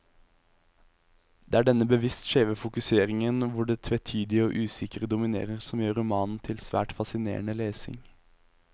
Det er denne bevisst skjeve fokuseringen, hvor det tvetydige og usikre dominerer, som gjør romanen til svært fascinerende lesning.